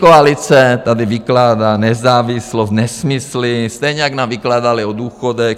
Pětikoalice tady vykládá nezávislost, nesmysly, stejně jak nám vykládali o důchodech.